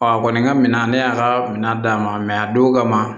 a kɔni ka minan ne y'a ka minan d'a ma a don kama